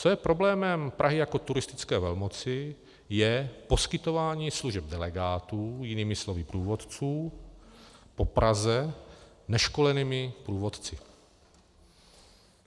Co je problémem Prahy jako turistické velmoci, je poskytování služeb delegátů, jinými slovy průvodců, po Praze neškolenými průvodci.